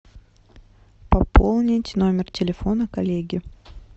пополнить номер телефона коллеги